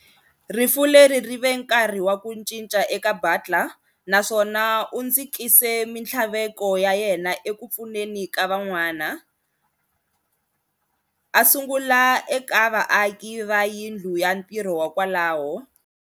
Rifu leri ri ve nkarhi wa ku cinca eka Butler, naswona u dzikise mintlhaveko ya yena eku pfuneni ka van'wana, a sungula eka vaaki va yindlu ya ntirho ya kwalaho.